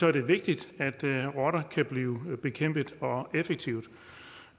er det vigtigt at rotter kan blive bekæmpet effektivt